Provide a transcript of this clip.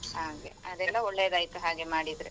ಹಾಗೆ ಅದ್ರಿಂದ ಒಳ್ಳೆದಾಯ್ತು ಹಾಗೆ ಮಾಡಿದ್ರೆ.